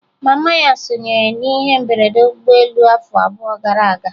Mama ya sonyere n'ihe mberede ụgbọelu afọ abụọ gara aga